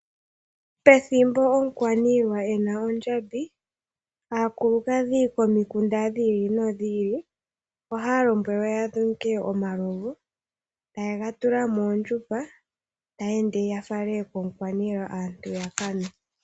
Pethimbo omukwaniilwa ena ondjambi, aakulukadhi komikunda dhili no dhili ohaya lombwelwa ya dhunge omalovu, eta yega tula moondjupa, taya ende ya fale komukwaniilwa, aantu yaka nwe.